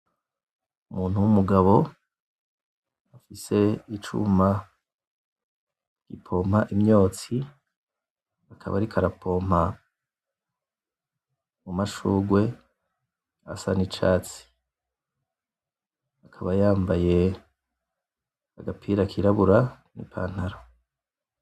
Umuntu w'umugabo afise icuma gipompa imyotsi akaba ariko arapompa mu mashugwe asa n'icatsi akaba yambaye agapira kirabura, n'ipantaro .